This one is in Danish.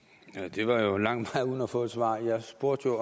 det var jo en lang gå uden at få et svar jeg spurgte